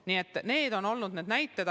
Nii et need on olnud need näited.